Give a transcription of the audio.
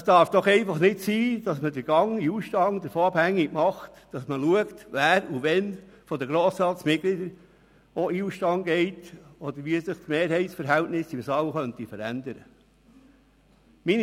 Es darf doch nicht sein, dass man den Gang in den Ausstand davon abhängig macht, wer von den Grossratsmitgliedern wann in den Ausstand tritt oder wie sich die Mehrheitsverhältnisse im Saal verändern könnten.